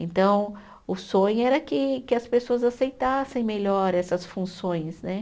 Então, o sonho era que que as pessoas aceitassem melhor essas funções, né?